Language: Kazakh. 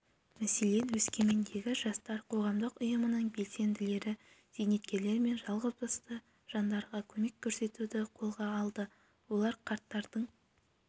мәселен өскемендегі жастар қоғамдық ұйымының белсенділері зейнеткерлер мен жалғызбасты жандарға көмек көрсетуді қолға алды олар қарттардың